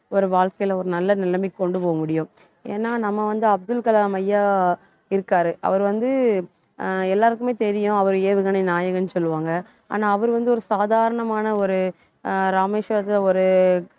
ஒரு வாழ்க்கையிலே ஒரு நல்ல நிலைமைக்கு கொண்டு போக முடியும் ஏன்னா நம்ம வந்து, அப்துல் கலாம் ஐயா இருக்காரு அவர் வந்து ஆஹ் எல்லாருக்குமே தெரியும் அவர் ஏவுகணை நாயகன்னு சொல்லுவாங்க ஆனா அவர் வந்து ஒரு சாதாரணமான ஒரு ஆஹ் ராமேஸ்வரத்தில ஒரு